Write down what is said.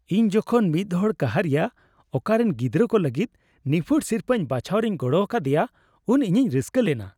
ᱤᱧ ᱡᱚᱠᱷᱚᱱ ᱢᱤᱫ ᱦᱚᱲ ᱠᱟᱦᱟᱨᱤᱭᱟᱹ ᱟᱠᱚᱨᱮᱱ ᱜᱤᱫᱽᱨᱟᱹ ᱠᱚ ᱞᱟᱹᱜᱤᱫ ᱱᱤᱯᱷᱩᱴ ᱥᱤᱨᱯᱟᱹᱧ ᱵᱟᱪᱷᱟᱣ ᱨᱤᱧ ᱜᱚᱲᱚ ᱟᱠᱟᱫᱮᱭᱟ ᱩᱱ ᱤᱧᱤᱧ ᱨᱟᱹᱥᱠᱟᱹ ᱞᱮᱱᱟ ᱾